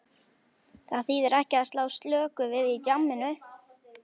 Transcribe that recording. Það þýðir ekki að slá slöku við í djamminu.